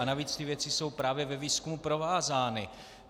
A navíc ty věci jsou právě ve výzkumu provázány.